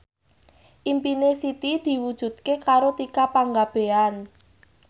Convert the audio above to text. impine Siti diwujudke karo Tika Pangabean